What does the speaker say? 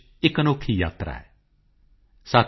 ਜਬ ਤਕ ਜਾਤਿ ਨਾ ਜਾਤ